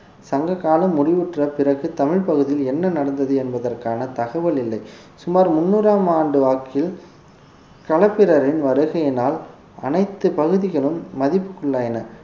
சங்க காலம் முடிவுற்ற பிறகு தமிழ் பகுதியில் என்ன நடந்தது என்பதற்கான தகவல் இல்லை சுமார் முன்னூறாம் ஆண்டு வாக்கில் களப்பிரரின் வருகையினால் அனைத்து பகுதிகளும் மதிப்புக்குள்ளாயின